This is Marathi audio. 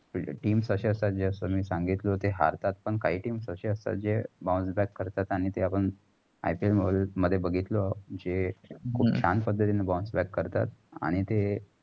जे team असं असतात. जे तुमी सांगितलात तेय हारतात. पण काही team असे असतात ते bounce back करतात. आणि ते पण IPL मध्ये बघितले. जे खूप छान पद्धतींनी bounce back करतात. आणि तेय